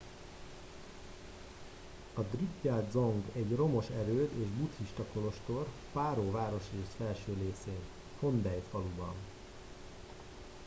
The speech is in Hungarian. a drukgyal dzong egy romos erőd és buddhista kolostor paro városrész felső részén phondey faluban